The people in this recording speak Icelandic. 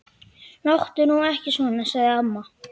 Láttu nú ekki svona. sagði amma.